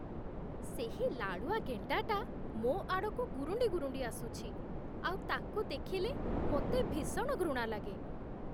ସେହି ଲାଳୁଆ ଗେଣ୍ଡାଟା ମୋ ଆଡ଼କୁ ଗୁରୁଣ୍ଡି ଗୁରୁଣ୍ଡି ଆସୁଛି, ଆଉ ତାକୁ ଦେଖିଲେ ମୋତେ ଭୀଷଣ ଘୃଣା ଲାଗେ।